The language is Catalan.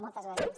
moltes gràcies